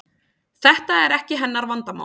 Þetta er ekki hennar vandamál.